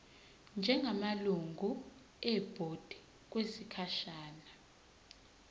njengamalungu ebhodi okwesikhashana